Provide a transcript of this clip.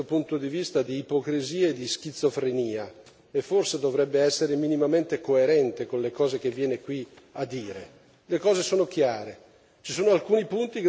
Il Consiglio e la Commissione sono un miscuglio, da questo punto di vista, di ipocrisia e di schizofrenia e forse dovrebbero essere minimamente coerenti con le cose che vengono qui a dire.